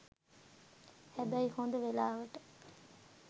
හැබැයි හොඳ වෙලාවට